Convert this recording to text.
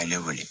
A ye ne wele